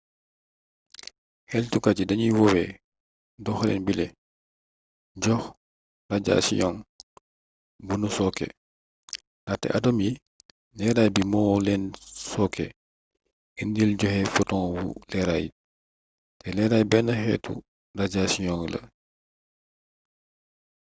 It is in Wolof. xeltukat yi danuy woowee doxalin bile jox rajasiyong bu nu sooke ndaxte atom yi leeray bi mo leen sooke indi joxe fotonwu leeraay te leeraay benn xeetu rajasiyong la